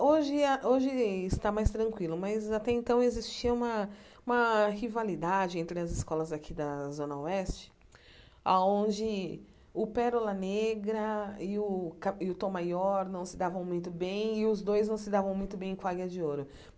Hoje a hoje isso está mais tranquilo, mas, até então, existia uma uma rivalidade entre as escolas daqui da Zona Oeste, aonde o Pérola Negra e o Tom Maior não se davam muito bem e os dois não se davam muito bem com a Águia de Ouro.